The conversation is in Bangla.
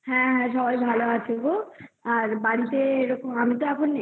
হ্যা সবাই ভালো আছে গো বাড়িতে আমি তো এখন এইখানে